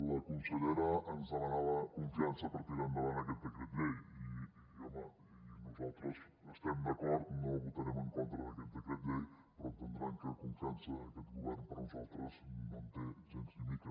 la consellera ens demanava confiança per tirar endavant aquest decret llei i home i nosaltres hi estem d’acord no votarem en contra d’aquest decret llei però entendran que confiança aquest govern per a nosaltres no en té gens ni mica